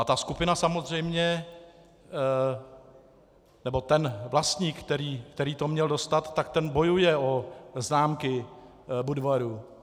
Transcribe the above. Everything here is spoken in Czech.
A ta skupina samozřejmě, nebo ten vlastník, který to měl dostat, tak ten bojuje o známky Budvaru.